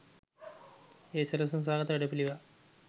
එය සැලසුම් සහගත වැඩපිළිවෙළක්